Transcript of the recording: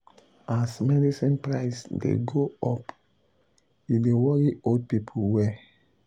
um as medicine price dey go up e dey worry old people well.